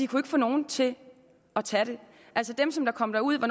kunne få nogen til at tage det altså dem som kom derud